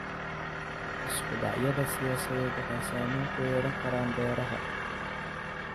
Isku dhacyada siyaasadeed waxay saameyn ku yeelan karaan beeraha.